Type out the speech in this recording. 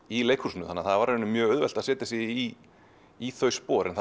í leikhúsinu þannig að það var mjög auðvelt að setja sig í í þau spor en